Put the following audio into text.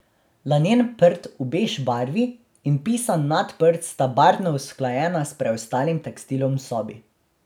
Lanen prt v bež barvi in pisan nadprt sta barvno usklajena s preostalim tekstilom v sobi.